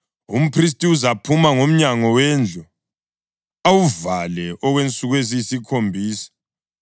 umphristi uzaphuma ngomnyango wendlu, awuvale okwensuku eziyisikhombisa.